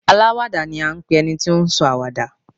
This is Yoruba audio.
Aláwàdà ni à ń pe ẹni tí ó sọ àwàdà.